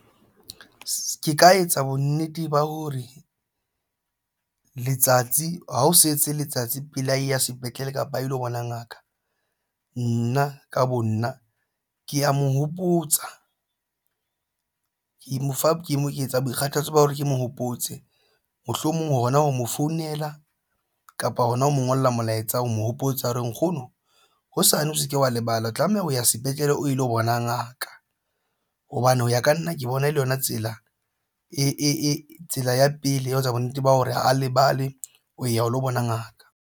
Ke ka etsa bonnete ba hore letsatsi ha o setse letsatsi pele a e ya sepetlele kapa a ilo bona ngaka nna ka bo nna ke ya mo hopotsa ke mo fa ke etsa boikgathatso ba hore ke mo hopotse mohlomong ha hona ho mo founela kapa hona ho mo ngolla molaetsa ho mo hopotsa hore nkgono hosane o se ke wa lebala o tlameha ho ya sepetlele a lo bona ngaka hobane ho ya ka nna ke bona e le yona tsela e tsela ya pele ya ho etsa bonnete ba hore ha lebale ho ya ho lo bona ngaka.